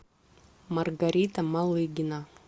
маргарита малыгина